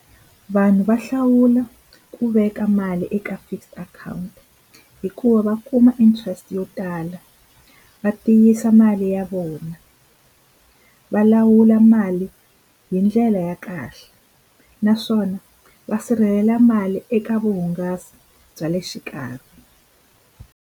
Vanhu va hlawula ku veka mali eka fixed account hikuva va kuma interest yo tala va tiyisa mali ya vona va lawula mali hi ndlela ya kahle naswona va sirhelela mali eka vuhungasi bya le xikarhi.